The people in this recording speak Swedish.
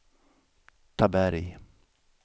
Taberg